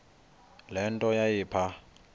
le nto yayipha